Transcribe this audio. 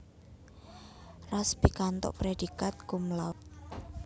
Ras pikantuk prédhikat cum laude